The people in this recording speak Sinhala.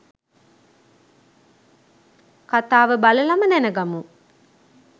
කථාව බලලම දැනගමු.